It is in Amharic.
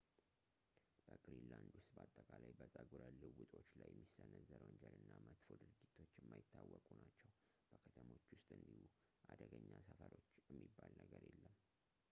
በግሪንላንድ ውስጥ በአጠቃላይ በፀጉረ ልውጦች ላይ የሚሰነዘር ወንጀል እና መጥፎ ድርጊቶች የማይታወቁ ናቸው በከተሞች ውስጥ እንዲሁ አደገኛ ሰፈሮች የሚባል ነገር የለም